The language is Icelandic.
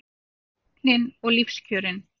Tæknin og lífskjörin